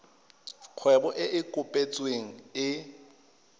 kgwebo e e kopetsweng e